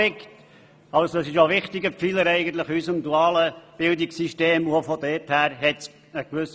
Er ist somit ein wichtiger Pfeiler unseres dualen Bildungssystems.